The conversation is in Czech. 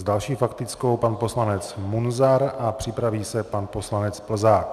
S další faktickou pan poslanec Munzar a připraví se pan poslanec Plzák.